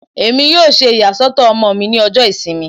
Emi yoo ṣe iyasọtọ ọmọ mi ni ọjọ Isinmi